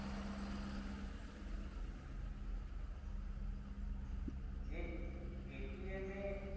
যে এ